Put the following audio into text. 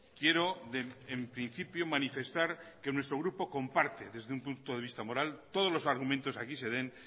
quiero en principio manifestar que nuestro grupo comparte desde un punto de vista moral todos los argumentos que aquí se den